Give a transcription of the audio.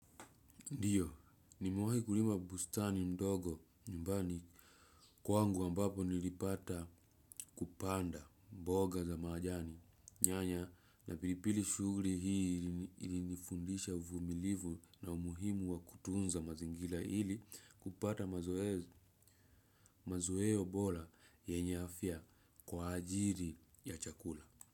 Ndiyo, nimewahi kulima bustani mdogo nyumbani kwangu ambapo nilipata kupanda mboga za majani. Nyanya na pilipili. Shughuli hii ilinifundisha uvumilivu na umuhimu wa kutunza mazingira ili kupata mazoeo bora yenye afya kwa ajili ya chakula.